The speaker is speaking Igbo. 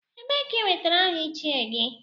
Ebee ka i nwetara aha Ichie gị?